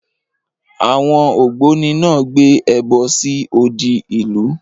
Àwọn ògbóni náà gbé ẹbọ sí odi ìlú.